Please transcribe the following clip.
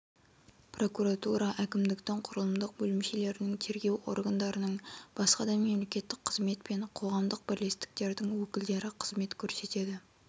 прокуратура әкімдіктің құрылымдық бөлімшелерінің тергеу органдарының басқа да мемлекеттік қызмет пен қоғамдық бірлестіктердің өкілдері қызмет көрсетеді